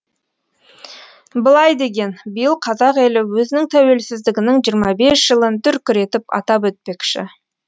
былай деген биыл қазақ елі өзінің тәуелсіздігінің жиырма бес жылын дүркіретіп атап өтпекші